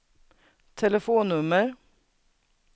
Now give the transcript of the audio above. telefonnummer